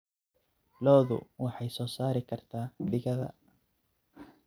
Lo'du waxay soo saari kartaa digada.